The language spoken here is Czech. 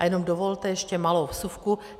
A jenom dovolte ještě malou vsuvku.